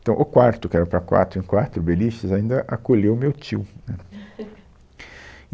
Então o quarto, que era para quatro em quatro beliches, ainda acolheu meu tio né.